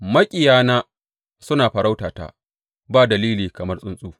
Maƙiyana suna farauta ta ba dalili kamar tsuntsu.